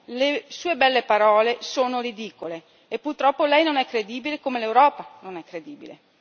Le sue belle parole sono ridicole e purtroppo lei non è credibile come l'Europa non è credibile.